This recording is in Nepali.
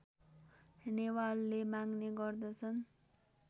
नेवारले मान्ने गर्दछन्